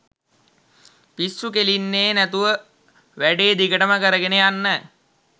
පිස්සු කෙලින්නේ නැතුව වැඩේ දිගටම කරගෙන යන්න